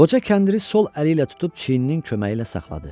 Qoca kəndiri sol əli ilə tutub çiyininin köməyi ilə saxladı.